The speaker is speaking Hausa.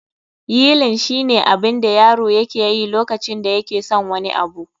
yeiling shine abin da yaro yake yi lokacin da yake son wani abu